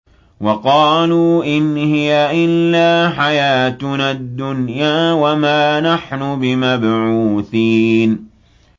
وَقَالُوا إِنْ هِيَ إِلَّا حَيَاتُنَا الدُّنْيَا وَمَا نَحْنُ بِمَبْعُوثِينَ